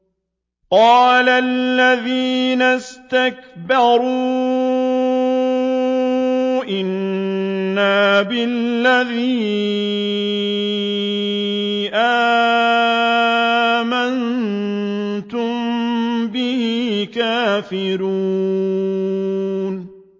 قَالَ الَّذِينَ اسْتَكْبَرُوا إِنَّا بِالَّذِي آمَنتُم بِهِ كَافِرُونَ